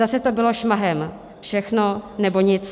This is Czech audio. Zase to bylo šmahem - všechno, nebo nic.